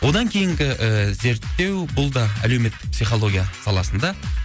одан кейінгі і зерттеу бұл да әлеуметтік психология саласында